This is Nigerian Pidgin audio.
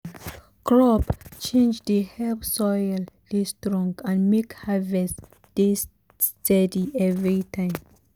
crop change dey help soil dey strong and make harvest dey steady every time.